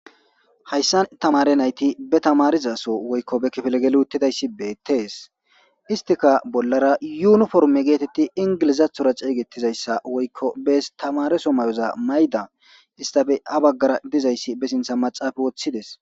hayssa tamare nayti be tamarizaso woykko be kifale geluuttidayssi beettees istika bollara yuniforme geetetti ingilizathora ceyettizayssa woykko bees tamareso may7oza mayda istafe a baggara dizayssi be sintha maxaafa woththides